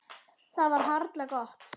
Það var harla gott.